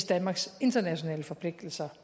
danmarks internationale forpligtelser